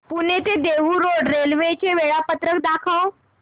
पुणे ते Dehu road railway चे वेळापत्रक दाखव